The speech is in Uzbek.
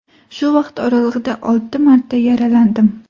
Shu vaqt oralig‘ida olti marta yaralandim.